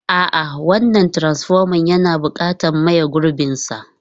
A'a, wannan transfoman yana buƙatar maye gurbinsa.